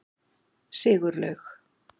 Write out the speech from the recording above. Sigurlaug